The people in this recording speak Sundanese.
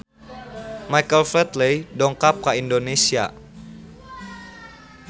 Michael Flatley dongkap ka Indonesia